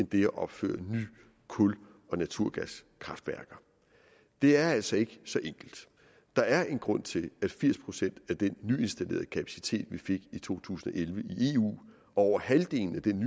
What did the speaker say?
det at opføre nye kul og naturgaskraftværker det er altså ikke så enkelt der er en grund til at firs procent af den nyinstallerede kapacitet vi fik i to tusind og elleve i eu over halvdelen af den